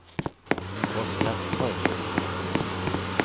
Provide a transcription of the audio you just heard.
Oskarström